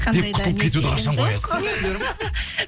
деп құтылып кетуді қашан қоясыз